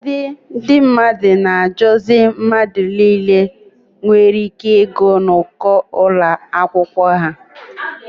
Ụfọdụ ndị mmadụ na-adọju mmadụ niile nwere ị́ké ịgụ n'uko akwụkwọ ha.